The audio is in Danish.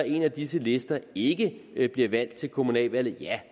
en af disse lister ikke ikke bliver valgt til kommunaludvalget